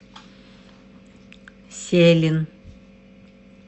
селин